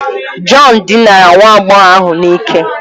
John dinara nwa agbọghọ ahụ n'ike